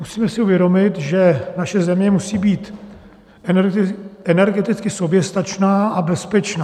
Musíme si uvědomit, že naše země musí být energeticky soběstačná a bezpečná.